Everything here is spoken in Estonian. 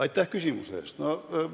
Aitäh küsimuse eest!